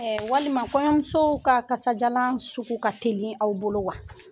Walima kɔɲɔmusow ka kasajalan sugu ka teli aw bolo wa?